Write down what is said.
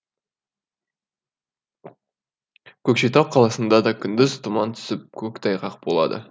көкшетау қаласында да күндіз тұман түсіп көктайғақ болады